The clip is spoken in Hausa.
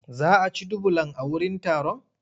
Za a ci dubulan a wurin taron?